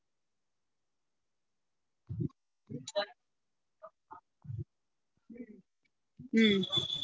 ஹம்